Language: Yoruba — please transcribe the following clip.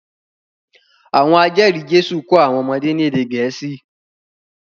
Àwọn ajeri Jésù ko àwọn ọmọdé ní ède Gẹ̀ẹ́sì